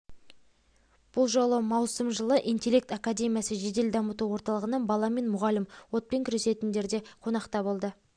атырау қалалық мамандандырылған өрт сөндіру бөлім аумағында балабақша тәрбиеленушілері мен оқушылары арасында ашық есік күндерін өткізу